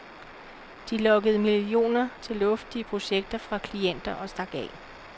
De lokkede millioner til luftige projekter fra klienter og stak af.